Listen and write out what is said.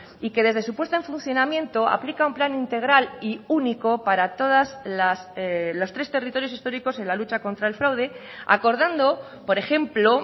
y que desde su puesta en funcionamiento aplica un plan integral y único para todas los tres territorios históricos en la lucha contra el fraude acordando por ejemplo